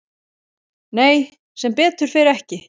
Nei, sem betur fer ekki.